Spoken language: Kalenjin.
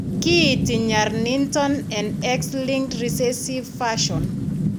Kiinti nyar niiton en X linked recessive fashion.